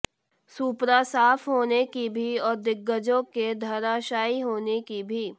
सूपड़ा साफ होने की भी और दिग्गजों के धराशायी होने की भी